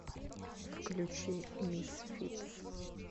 включи мисфитс